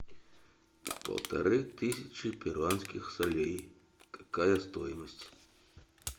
полторы тысячи перуанских солей какая стоимость